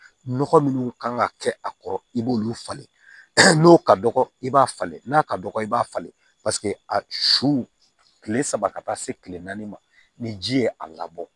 Nɔgɔ minnu kan ka kɛ a kɔrɔ i b'olu falen n'o ka dɔgɔ i b'a falen n'a ka dɔgɔ i b'a falen a su kile saba ka taa se kile naani ma ni ji ye a labɔ